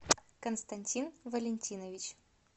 константин валентинович